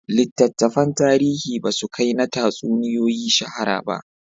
Littattafan tarihi ba su kai na tatsuniyoyi shahara ba